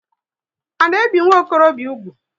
A na ebi nwokorobia úgwù?